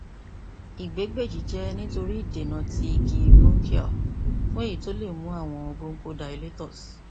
igbegbeji jẹ nitori idena ti igi bronchial fun eyi ti o le mu awọn bronchodilators